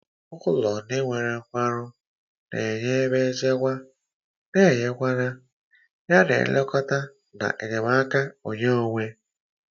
Ụlọ ndị nwere nkwarụ na-enye ebe nchekwa na ịnweta ya, yana nlekọta na enyemaka onwe onye.